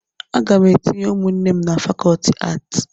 Aga m etinye ụmụnne m na fakọlti aatị